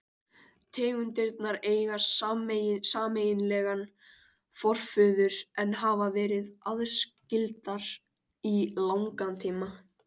Tegundirnar eiga sameiginlegan forföður en hafa verið aðskildar í langan tíma.